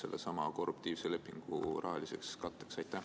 sellesama korruptiivse lepingu rahaliseks katteks?